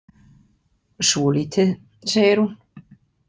Svolítið, segir hún.